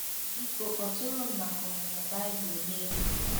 □ Biko kpọtụrụ m maka ọmụmụ Bible n'efu.